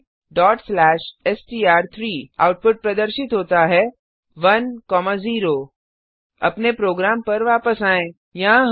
type करें str3 output प्रदर्शित होता है 10 अपने प्रोग्राम पर वापस आएँ